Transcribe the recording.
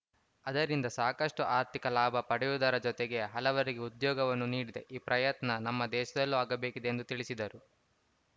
ಅದರಿಂದ ಸಾಕಷ್ಟುಆರ್ಥಿಕ ಲಾಭ ಪಡೆಯುವುದರ ಜತೆಗೆ ಹಲವರಿಗೆ ಉದ್ಯೋಗವನ್ನು ನೀಡಿದೆ ಈ ಪ್ರಯತ್ನ ನಮ್ಮ ದೇಶದಲ್ಲೂ ಆಗಬೇಕಿದೆ ಎಂದು ತಿಳಿಸಿದರು